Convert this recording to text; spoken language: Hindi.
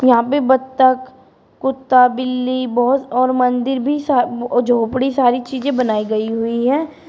यहां पे बत्तख कुत्ता बिल्ली बोहोत और मंदिर भी सा म् ओ झोपड़ी सारी चीजें बनाई गई हुई है।